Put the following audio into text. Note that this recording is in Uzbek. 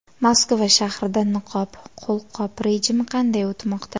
Moskva shahrida niqob-qo‘lqop rejimi qanday o‘tmoqda?